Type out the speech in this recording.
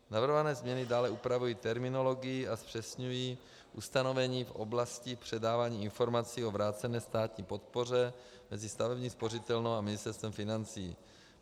Navrhované změny dále upravují terminologii a zpřesňují ustanovení v oblasti předávání informací o vrácené státní podpoře mezi stavební spořitelnou a Ministerstvem financí.